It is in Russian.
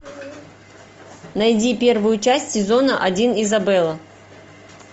найди первую часть сезона один изабелла